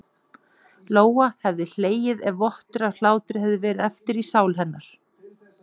Lóa hefði hlegið ef vottur af hlátri hefði verið eftir í sál hennar.